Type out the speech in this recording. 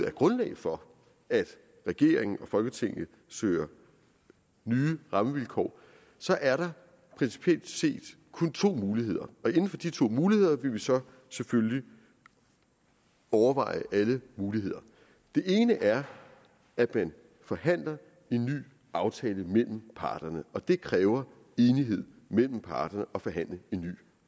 er grundlag for at regeringen og folketinget søger nye rammevilkår så er der principielt set kun to muligheder og inden for de to muligheder vil vi så selvfølgelig overveje alle muligheder den ene er at man forhandler en ny aftale mellem parterne på og det kræver enighed mellem parterne at forhandle en ny